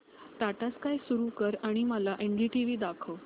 टाटा स्काय सुरू कर आणि मला एनडीटीव्ही दाखव